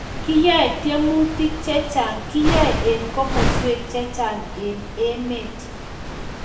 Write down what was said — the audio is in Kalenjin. Kiyae tenyemutik chechang kiyae en kimaswek chechang en emet